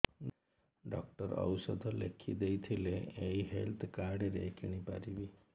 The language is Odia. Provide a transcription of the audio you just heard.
ଡକ୍ଟର ଔଷଧ ଲେଖିଦେଇଥିଲେ ଏଇ ହେଲ୍ଥ କାର୍ଡ ରେ କିଣିପାରିବି